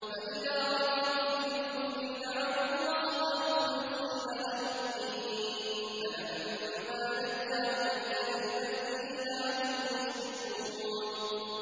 فَإِذَا رَكِبُوا فِي الْفُلْكِ دَعَوُا اللَّهَ مُخْلِصِينَ لَهُ الدِّينَ فَلَمَّا نَجَّاهُمْ إِلَى الْبَرِّ إِذَا هُمْ يُشْرِكُونَ